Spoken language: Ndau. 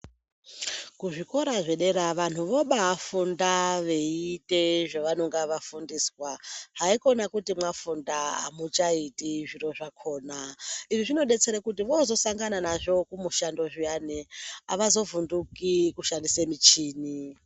Kuzvikora zvedera vantu vobaafunda veiite zvavanonga vafundiswa. Haikona kuti mwafunda , hamuchaiti zviro zvakhona. Izvi zvinodetsera kuti voozosangana nazvo kumushando zviyani, avazovhunduki kushandise michini.